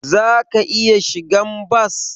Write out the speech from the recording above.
Zaka iya shigan bas.